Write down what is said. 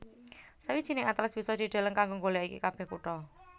Sawijining atlas bisa dideleng kanggo nggolèki kabèh kutha